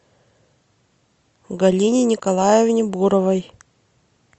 галине николаевне буровой